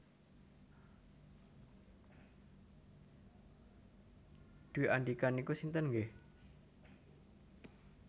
Dwi Andika niku sinten nggeh?